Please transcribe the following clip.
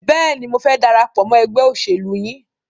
Bẹ́ẹ̀ni, mo fẹ́ darapọ̀ mọ́ ẹgbẹ́ òṣèlú yìí.